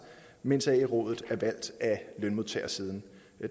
mens ae rådet er valgt af lønmodtagersiden